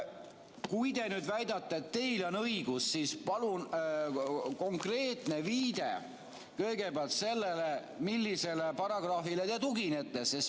Kui te väidate, et teil on õigus, siis palun kõigepealt konkreetne viide, millisele paragrahvile te tuginete.